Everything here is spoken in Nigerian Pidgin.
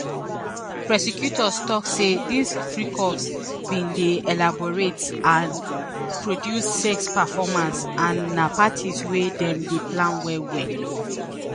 prosecutors tok say dis "freak-offs" bin dey "elaborate and produced sex performances" and na parties wey dem plan well-well.